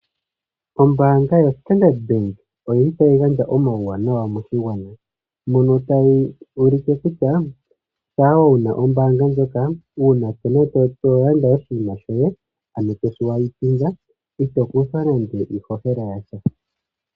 Ombaanga yo Standard oyili tayi gandja omawuwanawa moshigwana mono tayi ulike kutya shampa wuna ombaanga ndjoka uuna tolanda oshinima shoyw nokakalata ito kuthwa nando iishoshela yasha.